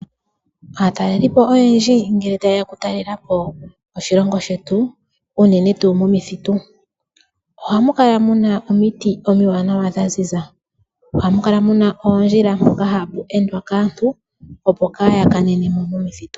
Aatalelipo oyendji ngele ta yeya oku talelapo oshilongo unene tuu momithitu, ohamu kala muna omiti omiwanawa dhaziza . Ohamu kala muna oondjila mpoka hapu endwa kaantu opo kaya kanenemo momithitu..